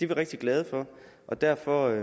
vi rigtig glade for og derfor